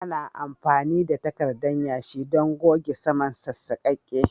Ana amfani da takarda yashi don goge saman sassaƙaƙe